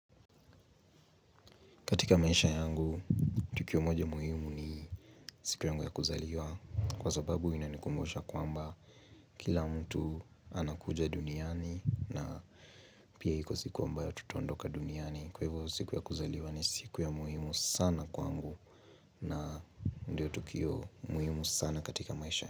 Katika maisha yangu tukio moja muhimu ni siku yangu ya kuzaliwa kwa sababu inanikumbusha kwamba kila mtu anakuja duniani na pia iko siku ambayo tutaondoka duniani kwa hivyo siku ya kuzaliwa ni siku ya muhimu sana kwangu na ndio tukio muhimu sana katika maisha yangu.